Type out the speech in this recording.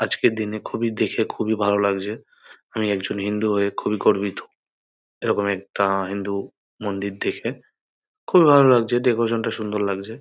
আজকের দিনে খুবই দেখে খুবই ভালো লাগছে আমি একজন হিন্দু হয়ে খুবই গর্বিত এরকম একটা হিন্দু মন্দির দেখে খুবই ভালো লাগছে ডেকোরেশন - টা সুন্দর লাগছে ।